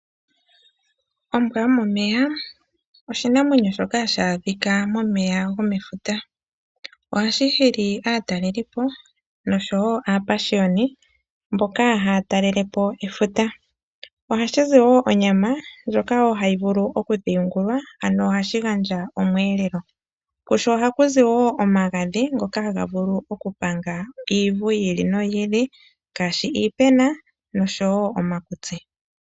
Ombwa yomomeya oshinamwenyo shoka hashi adhika momeya gomefuta. Ohashi hili aataleli po nosho wo aapashiyoni mboka haya talele po efuta. Ohashi zi wo onyama ndjoka wo hayi vulu oku dhingulwa ano ohashi gandja omweelelo. Kusho ohaku zi omagadhi ngoka haga vulu okupanga uuvu wi ili ngaashi iipena momutse nosho wo uuvu womakutsi.